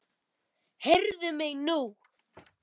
Heyrðu mig nú!